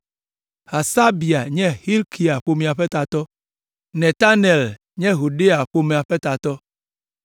Hasabia nye Hilkia ƒomea ƒe tatɔ, Netanel nye Yedaia ƒomea ƒe tatɔ.